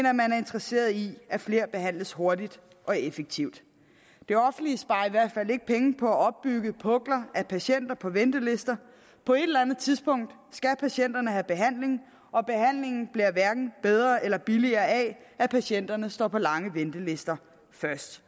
at man er interesseret i at flere behandles hurtigt og effektivt det offentlige sparer i hvert fald ikke penge på at opbygge pukler af patienter på ventelister på et eller andet tidspunkt skal patienterne have behandling og behandlingen bliver hverken bedre eller billigere af at patienterne står på lange ventelister først